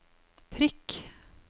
prikk